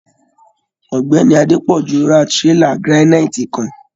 Ọ̀gbẹ́ni Adepọju rà tírélà giraniiti kàn.